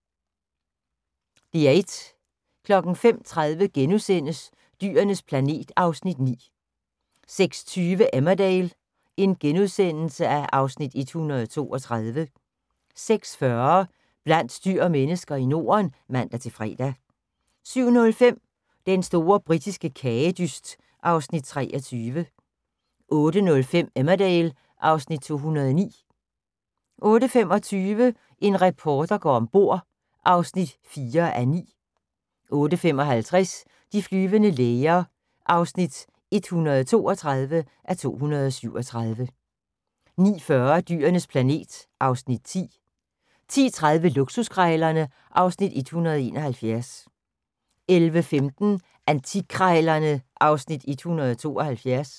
05:30: Dyrenes planet (Afs. 9)* 06:20: Emmerdale (Afs. 132)* 06:40: Blandt dyr og mennesker i Norden (man-fre) 07:05: Den store britiske kagedyst (Afs. 23) 08:05: Emmerdale (Afs. 209) 08:25: En reporter går ombord (4:9) 08:55: De flyvende læger (132:237) 09:40: Dyrenes planet (Afs. 10) 10:30: Luksuskrejlerne (Afs. 171) 11:15: Antikkrejlerne (Afs. 176)